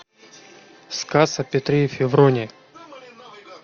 сказ о петре и февронии